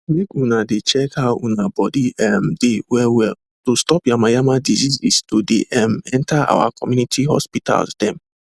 make una de check how una body um de well well to stop yamayama diseases to de um enter our community hospitals them